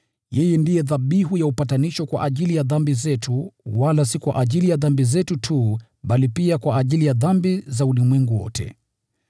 Yeye ndiye dhabihu ya upatanisho kwa ajili ya dhambi zetu, wala si kwa ajili ya dhambi zetu tu, bali pia kwa ajili ya dhambi za ulimwengu wote.